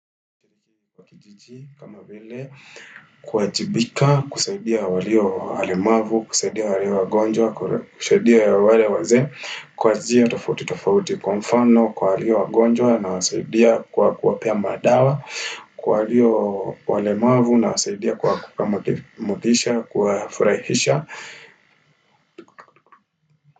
Kwa kijiji kama vile, kuwajibika, kusaidia walio walemavu, kusaidia walio wagonjwa, kusaidia wale wazee, kwa njia tofauti tofauti kwa mfano, kwa walio wagonjwa nawasaidia kwa kuwapea madawa, kwa walio walemavu na wasaidia kwa motisha, kwa furahisha.